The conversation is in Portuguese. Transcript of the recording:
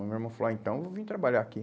Meu irmão falou, ah então eu vim trabalhar aqui.